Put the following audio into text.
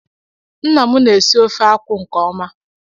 Ńnà mụ na- esị ofe akwụ nke ọma..